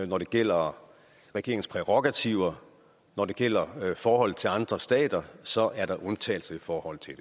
når det gælder regeringens prærogativer når det gælder forholdet til andre stater så er der undtagelser i forhold til